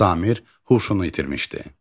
Samir huşunu itirmişdi.